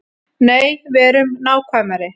Nei, verum nákvæmari.